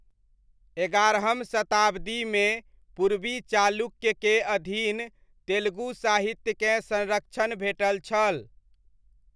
एगारहम शताब्दीमे पूर्वी चालुक्यके अधीन तेलुगु साहित्यकेँ संरक्षण भेटल छल।